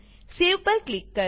સેવ પર ક્લિક કરો